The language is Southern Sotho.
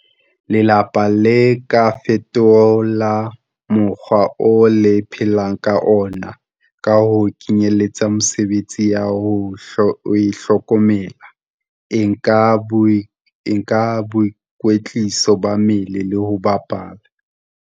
Lelapa le ka fetola mokgwa oo le phelang ka ona ka ho kenyeletsa mesebetsi ya ho itlhokomela, e kang boikwetliso ba mmele le ho bapala.